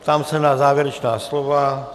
Ptám se na závěrečná slova.